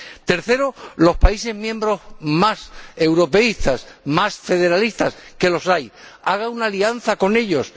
Tercero, los países miembros, más europeístas, más federalistas que los hay haga una alianza con ellos